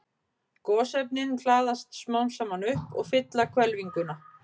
Gosefnin hlaðast smám saman upp og fylla hvelfinguna.